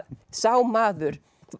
sá maður